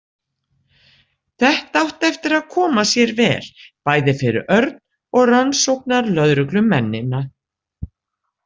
Þetta átti eftir að koma sér vel, bæði fyrir Örn og rannsóknarlögreglumennina.